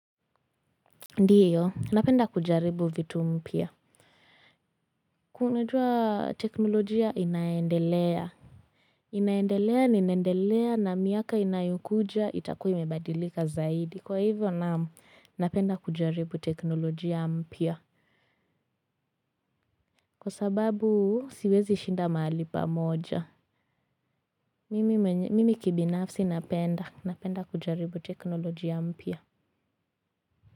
Ndiyo napenda kujaribu vitu mpya unajua teknolojia inaendelea inaendelea na inaendelea na miaka inayokuja itakua imebadilika zaidi kwa hivyo naam napenda kujaribu teknolojia mpya kwa sababu siwezi shinda mahali pa moja mimi kibinafsi napenda napenda kujaribu teknolojia mpya.